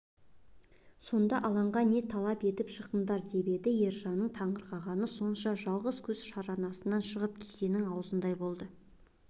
сонда алаңға не талап етіп шықтыңдар деп еді ержанның таңырқағаны сонша жалғыз көз шарасынан шығып кесенің аузындай болмаса